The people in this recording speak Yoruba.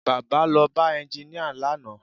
Baba lọ bá ẹnginíà lánàá